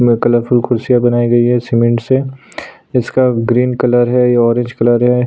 में कलरफूल कुर्सियां बनाई गई है सीमेंट से इसका ग्रीन कलर है यह ऑरेंज कलर है।